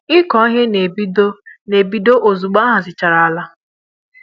ịkụ ihe n'ebido n'ebido ozugbo ahazichara àlà